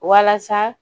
Walasa